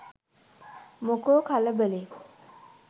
මොකෝ කලබලේ